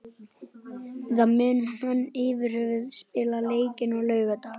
Eða mun hann yfirhöfuð spila leikinn á laugardag?